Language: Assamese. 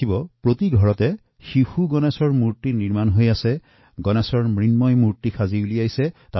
YouTubeত আপোনালোকে চাব পৰিব আজি কালি সৰু লৰাছোৱালীয়েও ঘৰে ঘৰে মাটিৰে গণেশৰ মূৰ্তি তৈয়াৰ কৰিছে